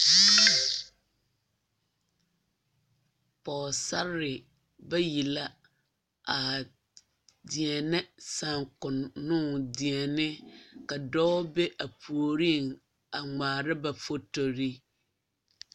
Pɔgesarre bayi la a deɛnɛ saakonnoŋ deɛne ka dɔɔ be a puoriŋ a ŋmaara ba fotori.